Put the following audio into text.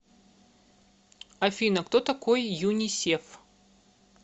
афина кто такой юнисеф